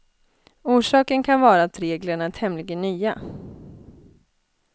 Orsaken kan vara att reglerna är tämligen nya.